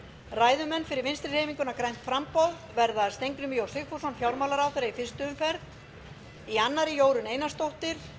ræðumenn fyrir vinstri hreyfinguna grænt framboð verða steingrímur j sigfússon fjármálaráðherra í fyrstu umferð í annarri jórunn einarsdóttir